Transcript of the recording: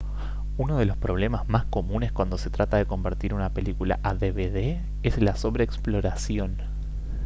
uno de los problemas más comunes cuando se trata de convertir una película a dvd es la sobre exploración